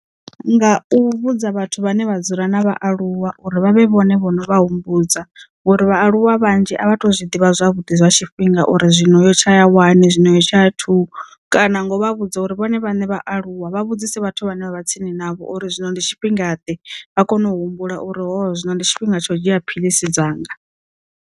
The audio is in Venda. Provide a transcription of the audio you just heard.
Nga u vhudza vhathu vhane vha dzula na vhaaluwa uri vha vhe vhone vhono vha humbudza ngori vhaaluwa vhanzhi a vha tu zwiḓivha zwavhuḓi zwa tshifhinga uri zwino yo tsha ya wani zwino yo tsha thuu kana ngo vha vhudza uri vhone vhaṋe vha aluwa vha vhudzise vhathu vhane vha vha tsini navho uri zwino ndi tshifhingade vha kone u humbula uri hoho zwino ndi tshifhinga tsho dzhia phiḽisi dzanga.